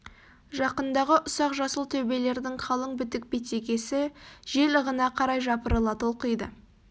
жақындағы ұсақ жасыл төбелердің қалың бітік бетегесі жел ығына қарай жапырыла толқиды